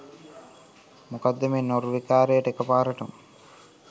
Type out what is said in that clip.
මොකක්ද මේ නෝර්වේකාරයාට එකපාරටම